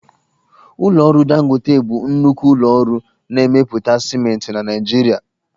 Ụlọ ọrụ Dangote bụ nnukwu ụlọ ọrụ na-emepụta siment na Naịjirịa